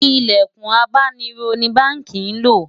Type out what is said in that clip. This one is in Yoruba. ilẹkùn abáni rò ní bánkì ló